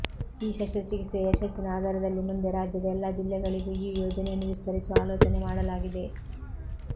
ಈ ಶಸ್ತ್ರಚಿಕಿತ್ಸೆಯ ಯಶಸ್ಸಿನ ಆಧಾರದಲ್ಲಿ ಮುಂದೆ ರಾಜ್ಯದ ಎಲ್ಲಾ ಜಿಲ್ಲೆಗಳಿಗೂ ಈ ಯೋಜನೆಯನ್ನು ವಿಸ್ತರಿಸುವ ಆಲೋಚನೆ ಮಾಡಲಾಗಿದೆ